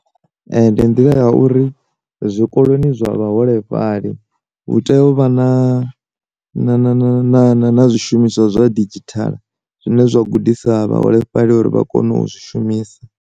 Ndi nḓila ya uri zwikoloni zwa vhaholefhali, hu tea u vha na na zwi shumiswa zwa didzhithala zwine zwa gudisa vha holefhali uri vha kone u zwi shumisa.